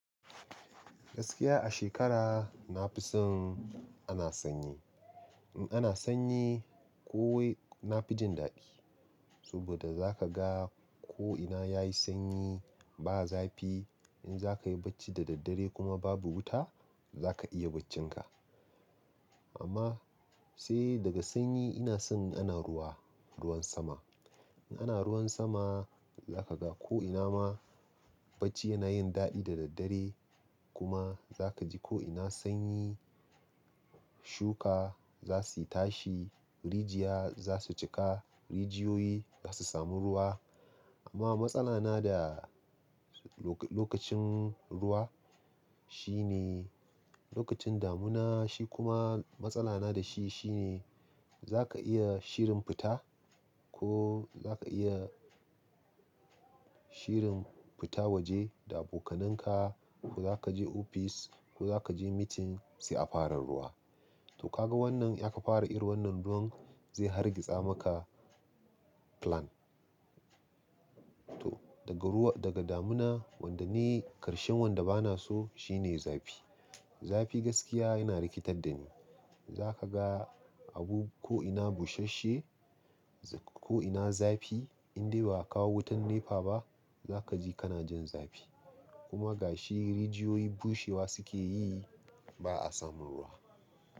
Gaskiya a shekara nafison ana sanyi. In ana sanyi ko wai na fi jin daɗi. Saboda za ka ga ko ina yayi sanyi ba zafi. In zaka yi bacci da daddare kuma babu wuta za ka iya baccin ka. Amma sai daga sanyi ina son ana ruwa, ruwan sama. In ana ruwan sama za ka ga ko ina ma bacci yana yin daɗi da daddare kuma za kaji ko ina sanyi shuka zasuyi tashi, rijiya zasu jiƙa, rijiyoyi za su samu ruwa. Amma matsala na da lokacin ruwa shi ne lokacin damuna shi kuma matsala na da shi shine za ka iya shirin fita ko za ka iya shirin fita waje da abokananka ko za kaje ofis ko za kaje meeting sai a fara ruwa. To kaga wannan in aka fara irin wannan ruwan zai hargitsa maka plan. To daga ruwa daga damuna wanda ni ƙarshen wanda bana so shine zafi. Zafi gaskiya yana rikitar da ni. Za ka ga abu ko ina bushasshe ko ina zafi indai ba a kawo wutan NEPA ba za kaji kana jin zafi kuma gashi rijiyoyi bushewa suke yi ba a samun ruwa.